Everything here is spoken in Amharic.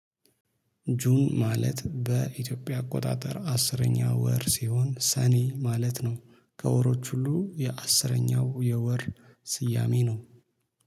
ጁን ማለት በኢትዮጵያ አቆጣጠር አስረኛው ወር ሲሆን ሰኔ ማለት ነው። ከወሮች ሁሉ የአስረኛው የወር ስያሜ ነው